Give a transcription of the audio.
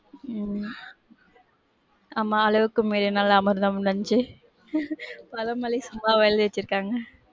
உம் ஆமா அளவுக்கு மீறினால் அமிர்தமும் நஞ்சு பழமொழி சும்மாவா எழுதி வச்சிர்க்காங்க.